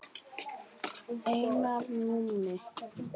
Einar Númi.